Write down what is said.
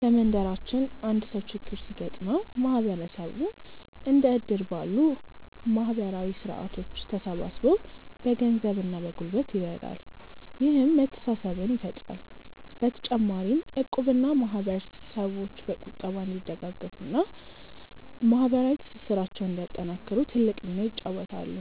በመንደራችን አንድ ሰው ችግር ሲገጥመው ማህበረሰቡ እንደ እድር ባሉ ማህበራዊ ስርዓቶች ተሰባስቦ በገንዘብና በጉልበት ይረዳል፤ ይህም መተሳሰብን ይፈጥራል። በተጨማሪም እቁብና ማህበር ሰዎች በቁጠባ እንዲደጋገፉና ማህበራዊ ትስስራቸውን እንዲያጠናክሩ ትልቅ ሚና ይጫወታሉ።